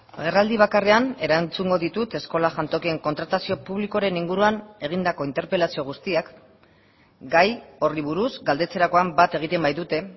agerraldi bakarrean erantzungo ditut eskola jantokien kontratazio publikoaren inguruan egindako interpelazio guztiak gai horri buruz galdetzerakoan bat egiten baitute